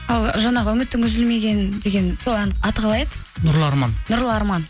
ал жаңағы үмітің үзілмеген деген сол ән аты қалай еді нұрлы арман нұрлы арман